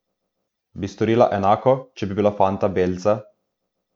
Bi storila enako, če bi bila fanta belca?